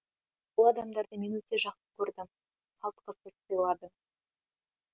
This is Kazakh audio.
бұл адамдарды мен өте жақсы көрдім қалтқысыз сыйладым